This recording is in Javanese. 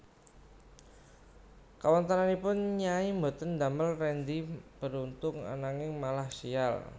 Kawontenanipun Nyai boten ndamel Rendy beruntung ananging malah sial